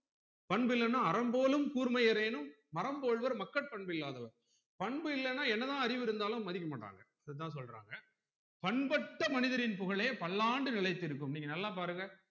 பண்பு இல்லனா அறம்போலும் கூர்மையரேனும் மரம் போல்வர் மக்கட் பண்பு இல்லாதவர் பண்பு இல்லனா என்ன தான் அறிவு இருத்தாலும் மதிக்கமாட்டாங்க அதுதான் சொல்றாங்க பண்பற்ற மனிதரின் புகழே பல்லாண்டு நிளைத்து இருக்கும் நீங்க நல்லா பாருங்க